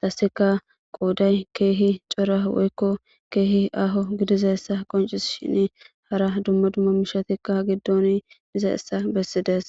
dasika quuday keehi cora woykko keehi aho gidizayssa qoncis shin hara dumma dumma mishatikka giddon diza issa bessides